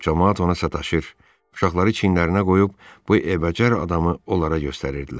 Camaat ona sataşır, uşaqları çiyinlərinə qoyub bu əbcər adamı onlara göstərirdilər.